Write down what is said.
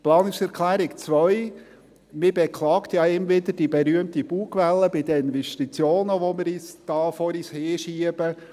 Zur Planungserklärung 2: Man beklagt ja immer wieder die berühmte Bugwelle bei den Investitionen, die wir vor uns herschieben.